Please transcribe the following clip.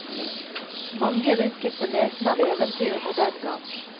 Mange rynket på nesen av eventyrene den gang.